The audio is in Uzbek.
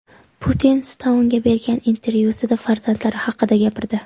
Putin Stounga bergan intervyusida farzandlari haqida gapirdi .